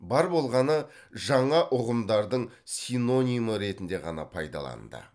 бар болғаны жаңа ұғымдардың синонимі ретінде ғана пайдаланды